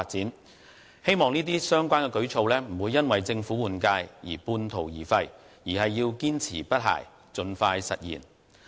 我希望這些相關舉措，不會因為政府換屆而半途而廢，而是要堅持不懈，盡快實現。